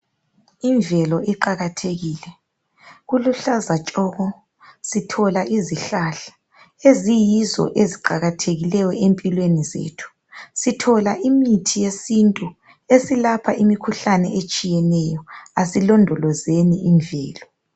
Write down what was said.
Imvelo iqakathekile. Kuluhlaza tshoko. Sithola izihlahla eziyizo eziqakathekileyo empilweni zethu. Sithola imithi yesintu esilapha imkhuhlane etshiyeneyo. Asilondolozeni imvelo.